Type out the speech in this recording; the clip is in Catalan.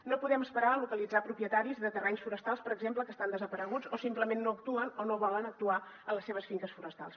no podem esperar a localitzar propietaris de terrenys forestals per exemple que estan desapareguts o simplement no actuen o no volen actuar a les seves finques forestals